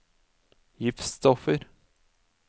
giftstoffer